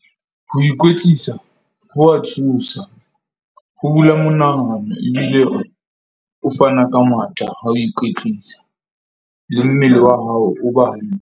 Ho ikwetlisa ho wa thusa. Ho bula monahano ebile ho fana ka matla a ho ikwetlisa le mmele wa hao o ba.